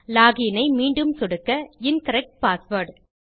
login ஐ மீண்டும் சொடுக்க இன்கரெக்ட் பாஸ்வேர்ட்